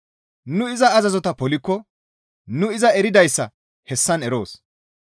Nu iza azazota polikko nu iza eridayssa hessan eroos.